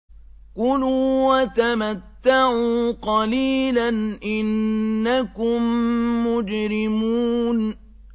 كُلُوا وَتَمَتَّعُوا قَلِيلًا إِنَّكُم مُّجْرِمُونَ